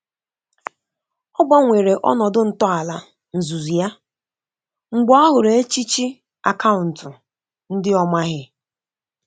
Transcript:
Ọ gbanwere ọnọdụ ntọala nzùzu ya mgbe ọ hụrụ echichi akauntu ndi ọ maghi